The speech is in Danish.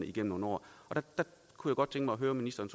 igennem nogle år jeg kunne godt tænke mig at høre ministeren